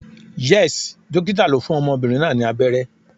Yes, Dókítà lo fún ọmọbìnrin náà ni abẹ́rẹ́